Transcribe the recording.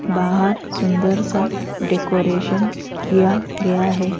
बाहर सुंदर सा डेकोरेशन किया गया है।